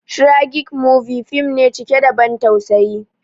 "Tragic movie" fim ne cike da ban tausayi